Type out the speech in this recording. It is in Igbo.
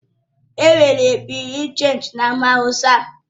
Enwere Bị́yurị́ dé Chénji e na Amaawusa